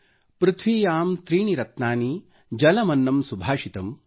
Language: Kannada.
ಪೃಥ್ವಿಯಾಂ ತ್ರೀಣಿ ರತ್ನಾನಿ ಜಲಮನ್ನಂ ಸುಭಾಷಿತಮ್|